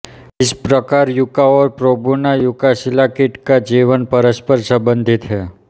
इस प्रकार युका और प्रोनुबा युकासिला कीट का जीवन परस्पर संबंधित है